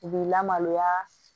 U b'i lamaloya